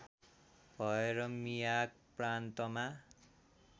भएर मियाग प्रान्तमा